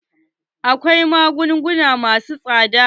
Akwai magunguna masu tsada.